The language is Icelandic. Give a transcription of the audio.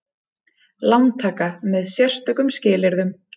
Lántaka með sérstökum skilyrðum.